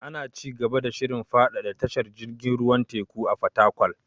Ana ci gaba da shirin faɗaɗa tashar jirgin ruwan teku a Fatakwal.